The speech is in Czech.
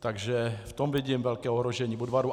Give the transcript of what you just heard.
Takže v tom vidím velké ohrožení Budvaru.